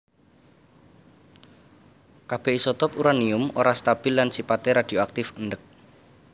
Kabèh isotop uranium ora stabil lan sipaté radioaktif endèk